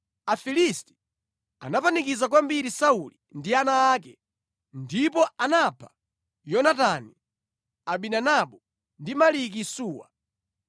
Afilisti anapanikiza kwambiri Sauli ndi ana ake, ndipo anapha Yonatani, Abinadabu ndi Maliki-Suwa.